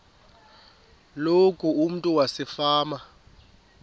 loku umntu wasefama